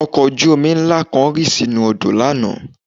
Ọkọ̀ ojú-omi ńlá kan rì sínú odò lánàá